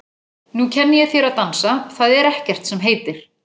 Nú kenni ég þér að dansa, það er ekkert sem heitir!